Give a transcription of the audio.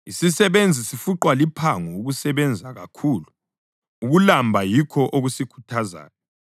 Isisebenzi sifuqwa liphango ukusebenza kakhulu; ukulamba yikho okusikhuthazayo.